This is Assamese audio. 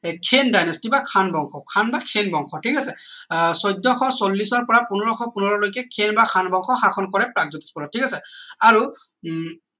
khen dynasty কিবা খান বংশ খান বা খেন বংশ ঠিক আছে আহ চৈধ্যশ চল্লিশ ৰ পৰা পোন্ধৰশ পোন্ধৰ লৈকে খেন বা খান বংশ শাসন কৰে প্ৰাগজ্যোতিষ পুৰত ঠিক আছে আৰু উম